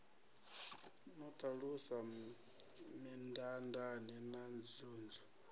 no ṱalusa mindaandaane na nzunzu